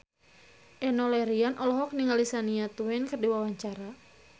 Enno Lerian olohok ningali Shania Twain keur diwawancara